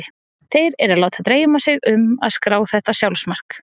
Þeir eru að láta dreyma sig um að skrá þetta sjálfsmark.